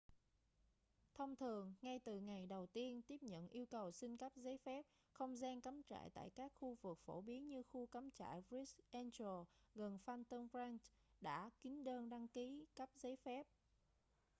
thông thường ngay từ ngày đầu tiên tiếp nhận yêu cầu xin cấp giấy phép không gian cắm trại tại các khu vực phổ biến như khu cắm trại bright angel gần phantom ranch đã kín đơn đăng ký cấp giấy phép